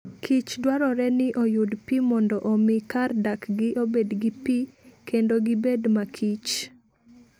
kich dwarore ni oyud pi mondo omi kar dakgi obed gi pi kendo gibed makichr.